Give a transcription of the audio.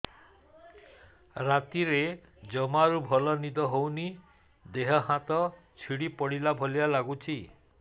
ରାତିରେ ଜମାରୁ ଭଲ ନିଦ ହଉନି ଦେହ ହାତ ଛିଡି ପଡିଲା ଭଳିଆ ଲାଗୁଚି